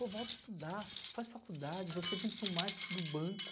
Pô, volta a estudar, faz faculdade, você vem para o marketing do banco.